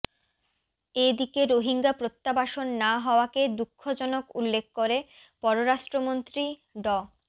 এ দিকে রোহিঙ্গা প্রত্যাবাসন না হওয়াকে দুঃখজনক উল্লেখ করে পররাষ্ট্রমন্ত্রী ড